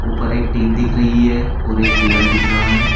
ऊपर एक टीन दिख रही है और एक पिलर दिख रहा है।